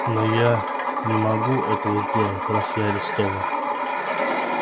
но я не могу этого сделать раз я арестован